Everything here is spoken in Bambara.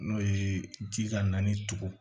N'o ye ji ka naani to